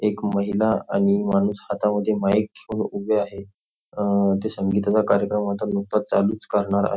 एक महिला आणि माणूस हातामध्ये माईक घेऊन उभे आहेत अ ते संगीताचा कार्यक्रम नुकताच चालू करणार आहेत.